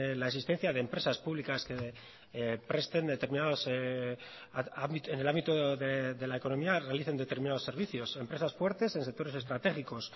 la existencia de empresas públicas que presten determinados en el ámbito de la economía realicen determinados servicios empresas fuertes en sectores estratégicos